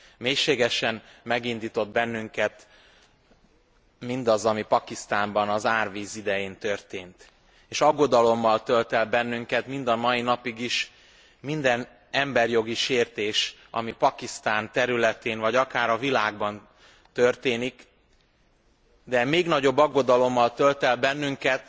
Mélységesen megindított bennünket mindaz, ami Pakisztánban az árvíz idején történt, és aggodalommal tölt el bennünket mind a mai napig is minden emberjogi sértés, ami Pakisztán területén vagy akár a világban történik, de még nagyobb aggodalommal tölt el bennünket,